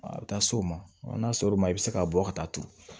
A bɛ taa s'o ma n'a sɔr'o ma i bɛ se ka bɔ ka taa turu